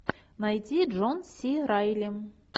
найти джон си райли